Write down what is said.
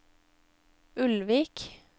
Ulvik